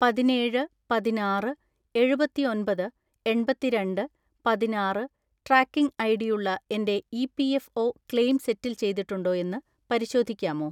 പതിനേഴ് പതിനാറ്‌ എഴുപത്തിഒന്‍പത് എണ്‍പത്തിരണ്ട് പതിനാറ്‌ ട്രാക്കിംഗ് ഐഡിയുള്ള എന്റെ ഇ.പി.എഫ്.ഒ ക്ലെയിം സെറ്റിൽ ചെയ്തിട്ടുണ്ടോ എന്ന് പരിശോധിക്കാമോ?